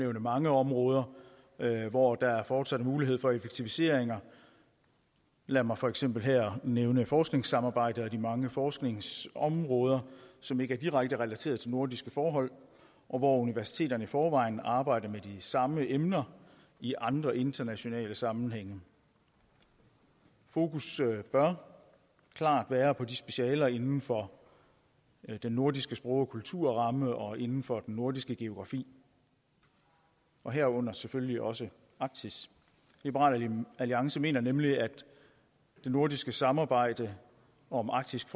mange områder hvor der fortsat er mulighed for effektiviseringer lad mig for eksempel her nævne forskningssamarbejdet og de mange forskningsområder som ikke direkte er relateret til nordiske forhold og hvor universiteterne i forvejen arbejder med de samme emner i andre internationale sammenhænge fokus bør klart være på specialer inden for den nordiske sprog og kulturramme og inden for den nordiske geografi herunder selvfølgelig også arktis liberal alliance mener nemlig at det nordiske samarbejde om arktisk